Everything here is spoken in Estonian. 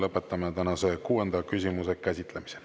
Lõpetame tänase kuuenda küsimuse käsitlemise.